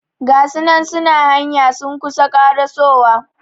Gasunan suna hanya sun kusa karasowa